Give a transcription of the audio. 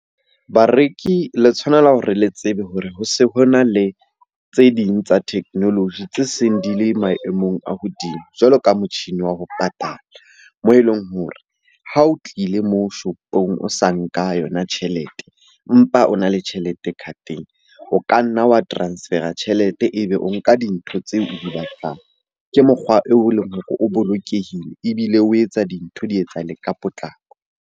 Bareki le tshwanela hore le tsebe hore ho se ho na le tse ding tsa technology tse seng di le maemong a hodimo, jwalo ka motjhini wa ho patala. Moo e leng hore ha o tlile moo shopong o sa nka yona tjhelete, empa o na le tjhelete card-eng. O ka nna wa transfer-a tjhelete ebe o nka dintho tseo o di batlang. Ke mokgwa o leng hore o bolokehile ebile o etsa dintho di etsahale ka potlako.